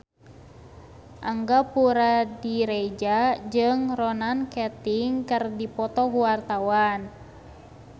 Angga Puradiredja jeung Ronan Keating keur dipoto ku wartawan